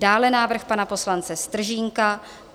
Dále návrh pana poslance Stržínka -